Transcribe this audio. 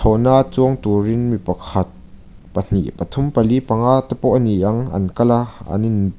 thlawhna a chuang turin mi pakhat pahnih pathum pali panga te pawh a ni ang an kal a an in--